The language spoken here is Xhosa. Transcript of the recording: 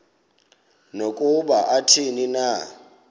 nokuba athini na